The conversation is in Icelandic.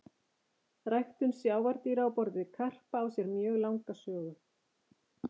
Ræktun sjávardýra á borð við karpa á sér mjög langa sögu.